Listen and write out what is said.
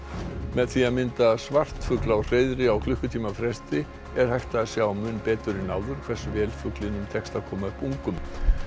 með því að mynda svartfugl á hreiðri á klukkutíma fresti er hægt að sjá mun betur en áður hversu vel fuglinum tekst að koma upp ungum